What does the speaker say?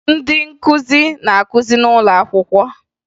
Ndị nkụzi na-akụzi n'ụlọ akwụkwọ